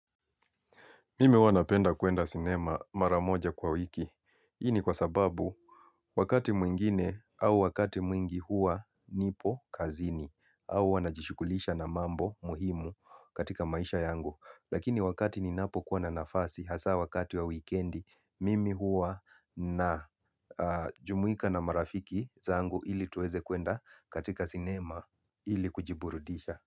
Mimi huwa napenda kwenda sinema maramoja kwa wiki. Hii ni kwasababu wakati mwingine au wakati mwingi huwa nipo kazini au huwa najishyghulisha na mambo muhimu katika maisha yangu. Lakini wakati ninapo kuwa na nafasi hasa wakati wa wikendi mimi hua na jumuika na marafiki zangu ili tuweze kuenda katika sinema ili kujiburudisha.